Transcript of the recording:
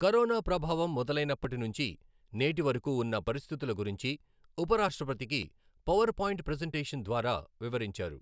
Corona ప్రభావం మొదలైనప్పటి నుంచి నేటి వరకూ ఉన్న పరిస్థితుల గురించి ఉపరాష్ట్రపతికి పవర్పాయింట్ ప్రజంటేషన్ ద్వారా వివరించారు.